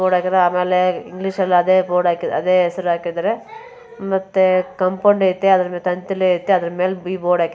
board ಹಾಕಿದರೆ ಅಮಲೇ ಇಂಗ್ಲಿಷಲ್ಲು ಅದೇ ಬೋರ್ಡ್ ಹಾಕಿದ್ದಾರೆ ಹೆಸರು ಹಾಕಿದ್ದಾರೆ ಮತ್ತು ಕಾಂಪೌಂಡ್ ಐತೆ ತಂತಿಯತೆ ಅದರ ಮೇಲೆ ಐತೆ ಅದರ ಬೋರ್ಡ್ ಹಾಕಿದ್ದಾರೆ